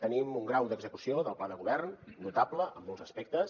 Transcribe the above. tenim un grau d’execució del pla de govern notable en molts aspectes